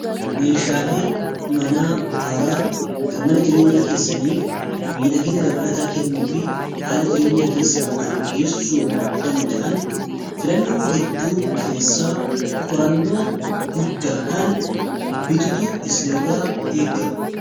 meeshaalee manaa haaraa kan mana jireenyaa keessaniif miidhagina dabalataa kennuu fi haala jireenya keessan fooyyessuu danda'an filannoo hedduu keessaa qorannoo guddaadhaan bitutu isin irra eegama